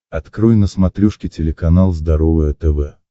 открой на смотрешке телеканал здоровое тв